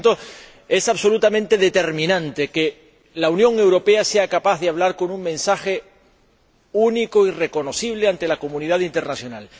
Y, por tanto, es absolutamente determinante que la Unión Europea sea capaz de hablar con un mensaje único y reconocible ante la comunidad internacional.